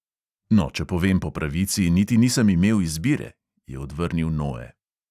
"No, če povem po pravici, niti nisem imel izbire," je odvrnil noe.